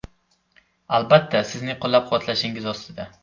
Albatta, sizning qo‘llab-quvvatlashingiz ostida.